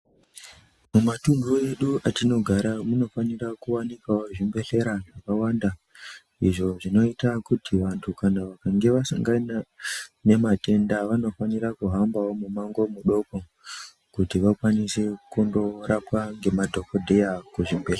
Mumatunhu edu atinogara munofanira kuwanikawo zvibhedhlera zvakawanda izvo zvinoita kuti vantu kana vakanga vasangana nematenda vanofanira kuhambawo mumango mudoko kuti vakwanise kundorapwa ngemadhokodheya muzvibhedhlera.